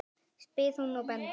spyr hún og bendir.